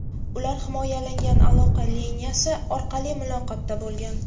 Ular himoyalangan aloqa liniyasi orqali muloqotda bo‘lgan.